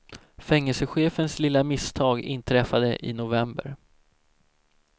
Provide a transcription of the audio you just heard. Fängelsechefens lilla misstag inträffade i november.